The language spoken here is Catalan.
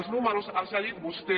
els números els ha dit vostè